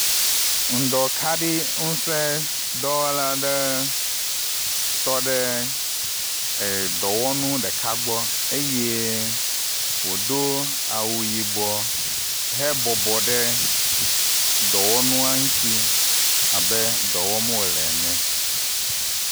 ŋdɔ kaɖi ŋusē dɔwɔla aɖe tɔɖe dɔwɔnu ɖeka gbɔ eye wodó awu yibɔ he bɔbɔ ɖe dɔwɔnua ŋtsi abe dɔwɔm wole ne